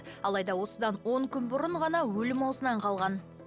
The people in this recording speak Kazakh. алайда осыдан он күн бұрын ғана өлім аузынан қалған